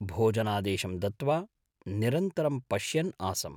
भोजनादेशंं दत्त्वा निरन्तरं पश्यन् आसम्।